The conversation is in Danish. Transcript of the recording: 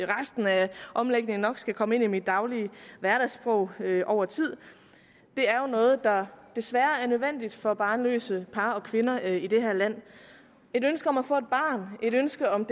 resten af omlægningen nok skal komme ind i mit hverdagssprog over tid er jo noget der desværre er nødvendigt for barnløse par og kvinder i det her land et ønske om at få et barn et ønske om